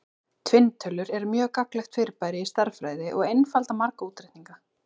Tvinntölur eru mjög gagnlegt fyrirbæri í stærðfræði og einfalda marga útreikninga.